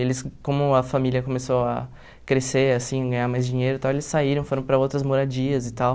Eles, como a família começou a crescer, assim, ganhar mais dinheiro e tal, eles saíram, foram para outras moradias e tal.